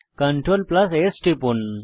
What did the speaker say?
CTRL S টিপুন